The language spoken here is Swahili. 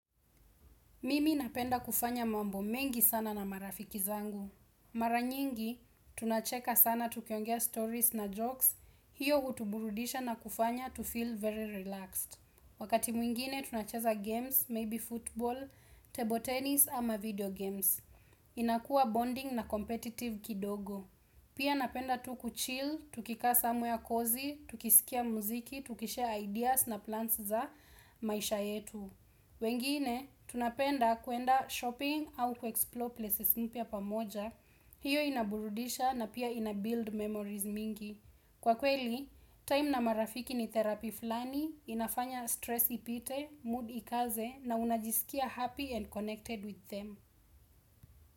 Mimi napenda kufanya mambo mengi sana na marafiki zangu. Mara nyingi, tunacheka sana tukiongea stories na jokes, hiyo utuburudisha na kufanya to feel very relaxed. Wakati mwingine tunacheza games, maybe football, table tennis ama video games. Inakua bonding na competitive kidogo. Pia napenda tu kuchill, tukikaa somewhere cozy, tukisikia muziki, tukishare ideas na plans za maisha yetu. Wengine, tunapenda kwenda shopping au kuexplore places mpya pamoja. Hiyo inaburudisha na pia ina build memories mingi. Kwa kweli, time na marafiki ni therapy fulani, inafanya stress ipite, mood ikaze na unajisikia happy and connected with them.